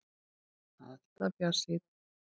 Alltaf bjartsýnn!